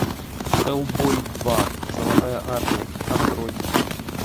хеллбой два золотая армия открой